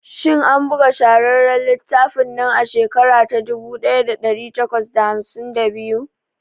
Shin an buga shahararren littafin nan a shekara ta dubu daya da dari takwas da hamsin da biyu?